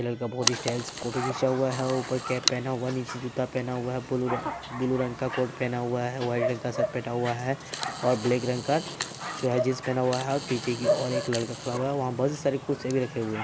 ये लड़का बोहोत ही स्टाइल से फोटो खींचा हुआ है ऊपर कैप पहना हुआ है नीचे जूता पहना हुआ है ब्लू र ब्लू रंग का कोट पहना हुआ है व्हाइट रंग का शर्ट पेटा हुआ है और ब्लैक रंग का जो हैं जीन्स पेहना हुआ हैऔर पीछे की ओर एक लड़का खड़ा हुआ है वहां बोहोत सारी कुर्सियां भी रखे हुए है।